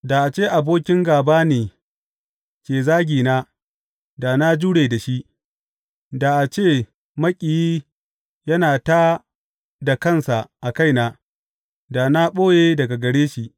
Da a ce abokin gāba ne ke zagina, da na jure da shi; da a ce maƙiyi yana tā da kansa a kaina, da na ɓoye daga gare shi.